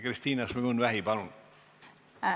Kristina Šmigun-Vähi, palun!